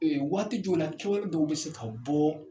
Ee waati jɔwla kɛwale dɔw be se ka bɔɔ